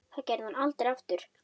Það gerði hún aldrei aftur.